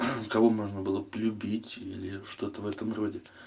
кого можно было бы любить или что-то в этом роде